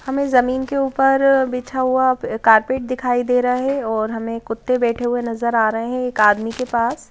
हमें जमीन के ऊपर बिछा हुआ कारपेट दिखाई दे रहा है और हमें कुत्ते बैठे हुए नजर आ रहे हैं एक आदमी के पास --